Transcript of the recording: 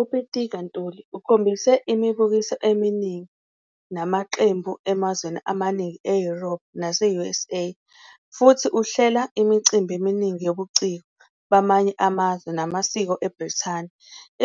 UPitika Ntuli ukhombise imibukiso eminingi namaqembu emazweni amaningi eYurophu nase-USA, futhi uhlela imicimbi eminingi yobuciko bamanye amazwe namasiko eBrithani.